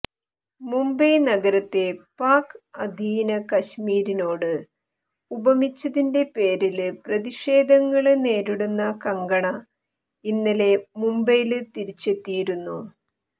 മുംബൈ നഗരത്തെ പാക് അധീന കശ്മീരിനോട് ഉപമിച്ചതിന്റെ പേരില് പ്രതിഷേധങ്ങള് നേരിടുന്ന കങ്കണ ഇന്നലെ മുംബൈയില് തിരിച്ചെത്തിയിരുന്നു